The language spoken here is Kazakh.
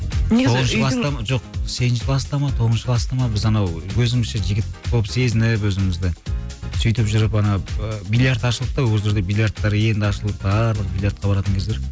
жоқ сегізінші класта ма тоғызыншы класта ма біз анау өзімізше жігіт болып сезініп өзімізді сөйтіп жүріп ана биллиард ашылды да ол кезде өзі биллиардтар енді ашылып барлығы биллиардқа баратын кездер